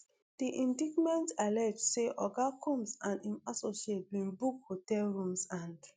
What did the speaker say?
di indictment allege say oga combs and im associates bin book hotel rooms and